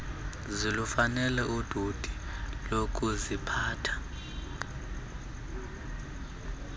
zilufanele udidi lokuziphatha